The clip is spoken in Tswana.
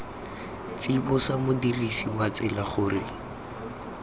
tsibosa modirisi wa tsela gore